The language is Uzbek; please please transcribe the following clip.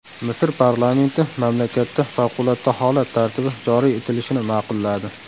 Misr parlamenti mamlakatda favqulodda holat tartibi joriy etilishini ma’qulladi.